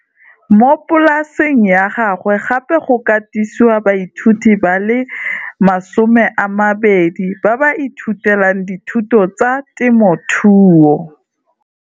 Mo polasing ya gagwe gape go katisiwa baithuti ba le 20 ba ba ithutelang dithuto tsa temothuo.